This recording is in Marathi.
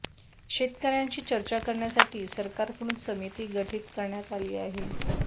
शेतकऱ्यांशी चर्चा करण्यासाठी सरकारकडून समिती गठित करण्यात आली आहे